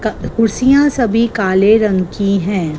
कुर्सियां सभी काले रंग की हैं।